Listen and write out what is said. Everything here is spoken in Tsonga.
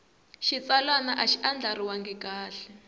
xitsalwana a xi andlariwangi kahle